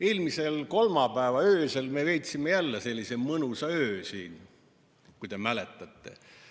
Eelmise kolmapäeva öösel me veetsime jälle sellise mõnusa öö siin, kui te mäletate.